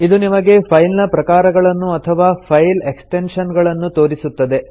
ಇದು ನಿಮಗೆ ಫೈಲ್ ನ ಪ್ರಕಾರಗಳನ್ನು ಅಥವಾ ಫೈಲ್ ಎಕ್ಸ್ಟೆನ್ಶನ್ ಗಳನ್ನು ತೋರಿಸುತ್ತದೆ